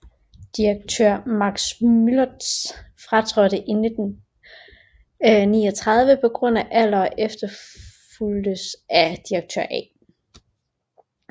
Direktør Max Müllertz fratrådte i 1939 på grund af alder og efterfulgtes af direktør A